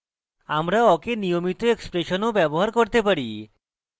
আমরা awk we নিয়মিত expression ও ব্যবহার করতে পারি